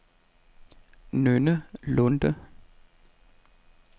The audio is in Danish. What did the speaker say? Nynne Lunde